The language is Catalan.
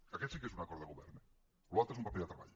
que aquest sí que és un acord de govern eh l’altre és un paper de treball